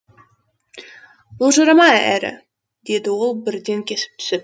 былжырама әрі деді ол бірден кесіп түсіп